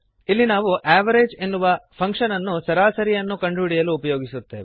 ಇಲ್ಲಿ ನಾವು ಅವೆರೇಜ್ ಎನ್ನುವ ಫಂಕ್ಶನ್ ಅನ್ನು ಸರಾಸರಿಯನ್ನು ಎವರೇಜ್ ಕಂಡುಹಿಡಿಯಲು ಉಪಯೋಗಿಸುತ್ತೇವೆ